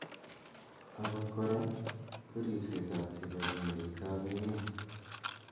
Akot kora, ko ripset ab kibangengeit ab emet